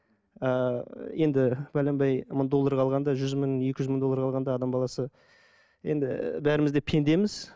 ыыы енді пәленбай мың доллар қалғанда жүз мың екі жүз мың доллар қалғанда адам баласы енді бәріміз де пендеміз